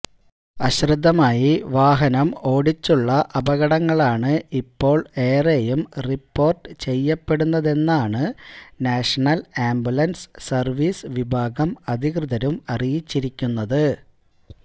അശ്രദ്ധമായി വാഹനം ഓടിച്ചുള്ള അപകടങ്ങളാണ് ഇപ്പോൾ ഏറെയും റിപ്പോർട്ട് ചെയ്യപ്പെടുന്നതെന്നാണ് നാഷണൽ ആംബുലൻസ് സർവീസ് വിഭാഗം അധികൃതരും അറിയിച്ചിരിക്കുന്നത്